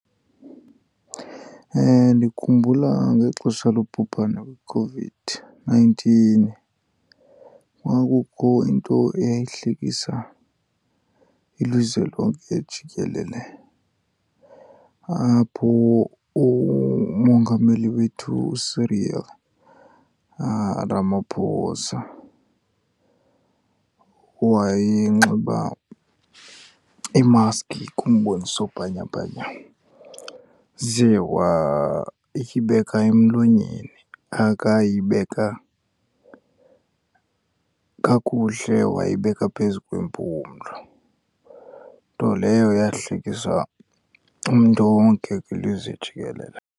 Ndikhumbula ngexesha lobhubhane iCOVID-nineteen, kwakukho into eyayihlekisa ilizwe lonke jikelele apho uMongameli wethu uCyril Ramaphosa wayenxiba imaski kumboniso bhanyabhanya, ze wayibeka emlonyeni akayibeka kakuhle, wayibeka phezu kwempumlo. Nto leyo eyahlekisa umntu wonke kwilizwe jikelele.